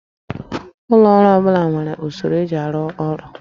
Ụlọ ọrụ ọ bụla nwere usoro eji arụ ọrụ